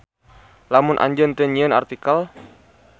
Lamun Anjeun teu nyieun artikel.